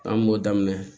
An kun b'o daminɛ